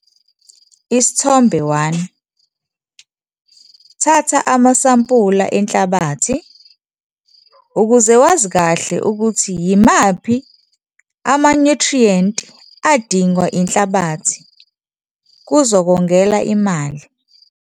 Isithombe 1- Thatha amasampula enhlabathi ukuze wazi kahle ukuthi yimaphi amanyuthriyenti adingwa inhlabathi, kuzokongela imali.